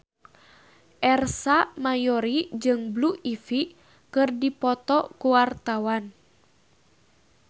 Ersa Mayori jeung Blue Ivy keur dipoto ku wartawan